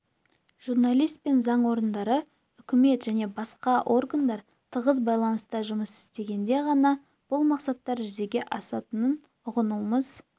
журналист пен заң орындары үкімет және басқа органдар тығыз байланыста жұмыс істегенде ғана бұл мақсаттар жүзеге асатынын ұғынуымыз